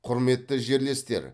құрметті жерлестер